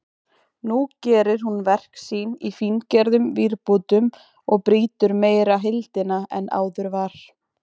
Nú gerir hún verk sín í fíngerðum vírbútum og brýtur meira heildina en áður var.